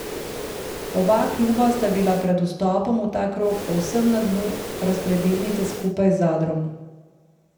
Oba kluba sta bila pred vstopom v ta krog povsem na dnu razpredelnice skupaj z Zadrom.